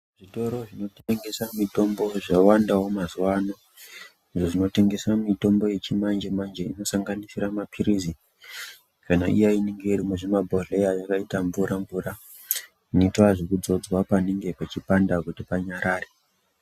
Zvitoro zvinotengesa mitombo zvawandawo mazuwa ano, izvo zvinotengesa mitombo yechimanjemanje inosanganisira mapirizi, kana iya inenge iri muzvimabhodhleya yakaita mvura mvura, inoita zvekudzodzwa panonga peipanda kuti panyarare.